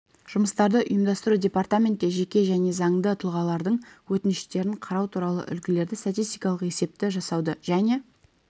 жұмыстарды ұйымдастыру департаментте жеке және заңды тұлғалардың өтініштерін қарау туралы үлгідегі статистикалық есепті жасауды және